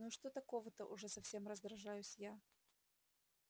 ну и что такого-то уже совсем раздражаюсь я